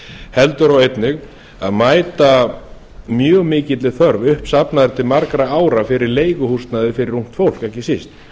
heldur og einnig að mæta mjög mikilli þörf uppsafnaðri til margra ára fyrir leiguhúsnæði fyrir ungt fólk ekki síst